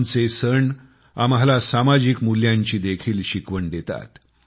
आमचे सण आम्हाला सामाजिक मुल्यांची देखील शिकवण देतात